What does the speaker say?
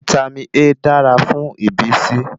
Vítámì A dára fún ìbísí